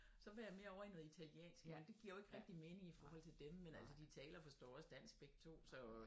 Så var jeg mere ovre i noget italiensk men det giver jo ikke rigtigt mening i forhold til dem men altså de taler forstår også dansk begge to så